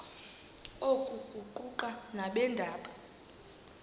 oku kuquka nabeendaba